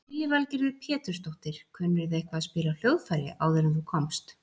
Lillý Valgerður Pétursdóttir: Kunnirðu eitthvað að spila á hljóðfæri áður en þú komst?